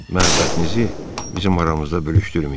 Məhəbbətinizi bizim aramızda bölüşdürməyin.